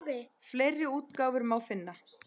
Fleiri útgáfur má finna.